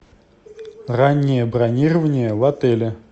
раннее бронирование в отеле